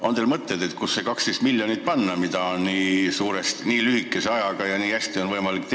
On teil mõtteid, kuhu panna see 12 miljonit, mida on võimalik nii lühikese ajaga ja nii hästi teenida?